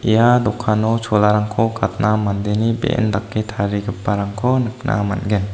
ia dokano cholarangko gatna mandeni be·en dake tarigiparangko nikna man·gen.